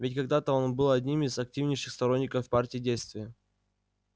ведь когда-то он был одним из активнейших сторонников партии действия